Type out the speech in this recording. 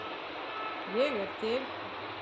Ég er til.